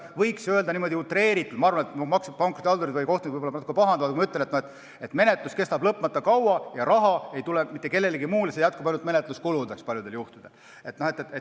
Võiks öelda utreeritult – ma arvan, et pankrotihaldurid või kohtunikud küll natuke pahandavad –, et menetlus kestab lõpmata kaua ja raha ei tule mitte kellelegi teisele, seda jätkub paljudel juhtudel ainult menetluskulude katmiseks.